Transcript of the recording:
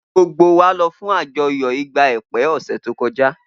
gbogbo wa lọ fun àjọyọ igba ekpe ose to kọja